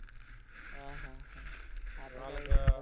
हा, हा, हा. आता